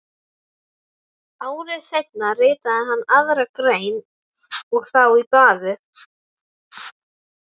Ári seinna ritaði hann aðra grein og þá í blaðið